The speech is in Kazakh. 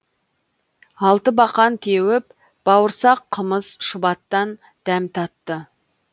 алтыбақан теуіп бауырсақ қымыз шұбаттан дәм татты